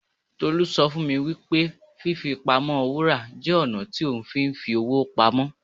Tolú sọ fún mi wípé fí fi pamọ́ Wúrà jẹ́ ọ̀nà tí ohun fi ń fi owó pamọ́.